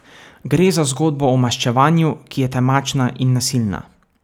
Gre za zgodbo o maščevanju, ki je temačna in nasilna.